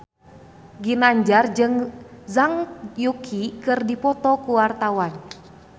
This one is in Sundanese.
Ginanjar jeung Zhang Yuqi keur dipoto ku wartawan